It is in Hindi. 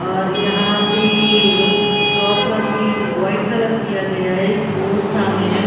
और यहां पे शॉप का पेंट व्हाइट कलर किया गया है एक बोर्ड सामने है।